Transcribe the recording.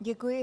Děkuji.